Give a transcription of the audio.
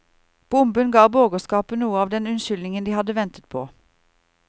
Bomben ga borgerskapet noe av den unnskyldningen de hadde ventet på.